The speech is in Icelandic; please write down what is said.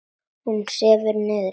Hún sefur niðri.